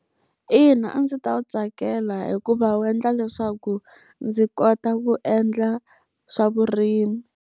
Ina, a ndzi ta wu tsakela hikuva wu endla leswaku ndzi kota ku endla swa vurimi.